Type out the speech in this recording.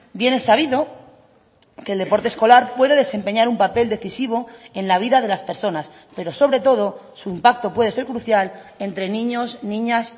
bien es sabido que el deporte escolar puede desempeñar un papel decisivo en la vida de las personas pero sobre todo su impacto puede ser crucial entre niños niñas